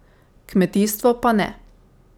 Kmetijstvo pa ne.